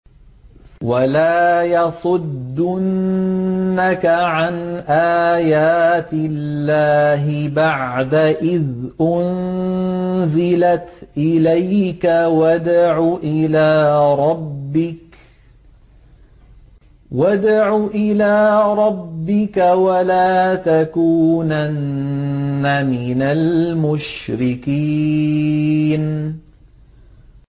وَلَا يَصُدُّنَّكَ عَنْ آيَاتِ اللَّهِ بَعْدَ إِذْ أُنزِلَتْ إِلَيْكَ ۖ وَادْعُ إِلَىٰ رَبِّكَ ۖ وَلَا تَكُونَنَّ مِنَ الْمُشْرِكِينَ